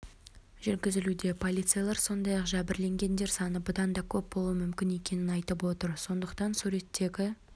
жүргізілуде полицейлер сондай-ақ жәбірленгендер саны бұдан да көп болуы мүмкін екенін айтып отыр сондықтан суреттегі